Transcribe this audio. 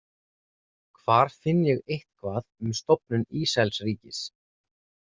Hvar finn ég eitthvað um stofnun Ísraelsríkis?